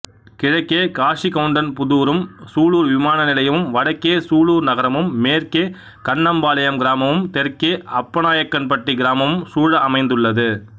கிழக்கே காசிகவுண்டன்புதூரும் சூலூர் விமானநிலையமும் வடக்கே சூலூர் நகரமும் மேற்கே கண்ணம்பாளையம் கிராமமும் தெற்கே அப்பநாயக்கன்பட்டி கிராமமும் சூழ அமைந்துள்ளது